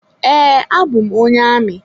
Ee, abụ m onye amị.